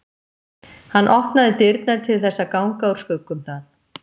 Hann opnaði dyrnar til þess að ganga úr skugga um það.